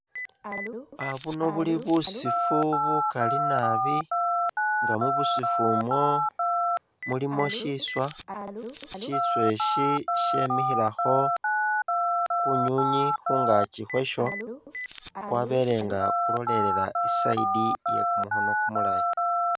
Aah buno buli busifu bukali nabi nga mu busifu umwo mulimu shiswa, shiswa eshi shemikhilekho kunywinywi khungaaki khwasho kwabele nga kulolelela i'side iye kumukhono kumulayi.